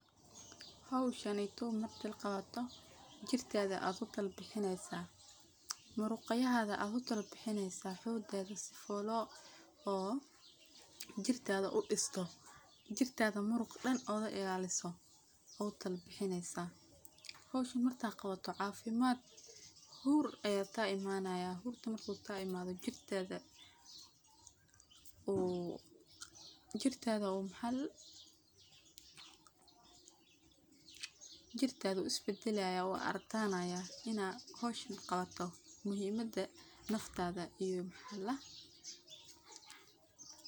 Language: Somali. Howshaneytow marki qawato, jirkadha ad ku kalabixineysaah, muruqyahadha ad ku kalabixineysaah xogadha si folo oo jirkadha u disto jirkadha muruq dhan oga ilaliso aa u kalabixineysaah, howshan marka qawato cafimad , hur ayaa ka imanaya, hurka marku kaimatho jirkada uu isbadalayaah uu adkanayah, inaa howshan qawato muhimada naftadha iyo.